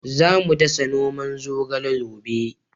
Za mu dasa noman zogale gobe